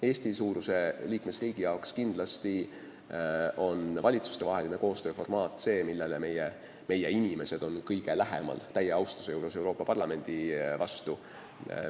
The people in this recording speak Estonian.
Eesti-suuruse liikmesriigi jaoks on kindlasti valitsustevahelise koostöö formaat see, millele meie inimesed on – ütlen seda täie austusega Euroopa Parlamendi vastu – kõige lähemal.